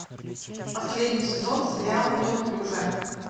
последний сезон сериал неуклюжая